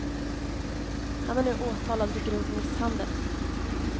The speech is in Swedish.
Han är nu åtalad för grov misshandel.